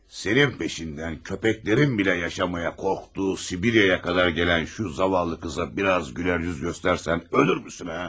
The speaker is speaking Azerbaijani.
Sənin peşindən köpəklərin belə yaşamağa qorxduğu Sibiriyə qədər gələn şu zavallı qıza biraz gülər yüz göstərsən ölürmüsən, hə?